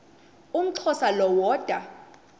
umxhosa lo woda